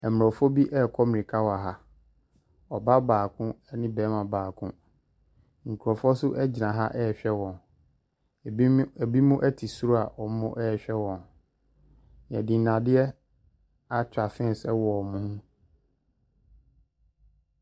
Mmorɔfo bi rekɔ mmirika wɔ ha. Ɔbaa baakone barimabaako. Nkurɔfoɔ nso gyina ha rehwɛ wɔn binom te soro a wɔrehwɛ wɔn. Wɔde nnadeɛ atwa fence wɔ wɔn ho.